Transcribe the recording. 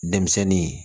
Denmisɛnnin